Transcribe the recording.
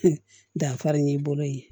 Danfara y'i bolo ye